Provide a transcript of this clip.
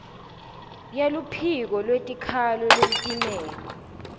yeluphiko lwetikhalo lolutimele